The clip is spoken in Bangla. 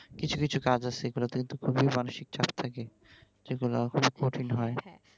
কিছু কিছু কাজ আছে যেগুলিতে কিন্তু খুবই মানসিক চাপ থাকে যেগুলা খুব কঠিন হয়